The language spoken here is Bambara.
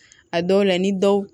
A dɔw la ni dɔw